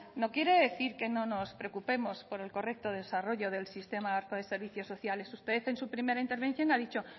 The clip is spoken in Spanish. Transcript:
no quiere decir que no nos preocupemos por el correcto desarrollo del sistema vasco de servicios sociales usted en su primera intervención ha dicho